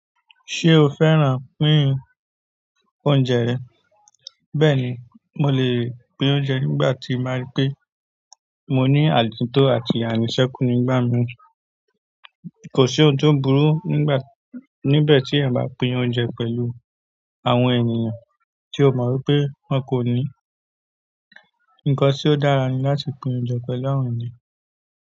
Ṣé o fẹ́ràn pín óúnjẹ rẹ? Bẹ́ẹ̀ ni, mo le pín óúnjẹ nígbà tí n bá rí pé mo ní ànito àti àníṣẹ́kú nígbà mìíràn. Kò sí ohun to burú níbẹ̀ tí èèyàn bá pín óúnjẹ pẹ̀lú àwọn ènìyàn tí o mọ̀ wipé wọ́n kò ní. Nǹkan tí ó dára ni láti pín óúnjẹ pẹ̀lú àwọn ènìyàn.